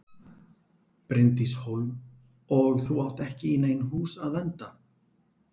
Bryndís Hólm: Og átt þú ekki í nein hús að vernda?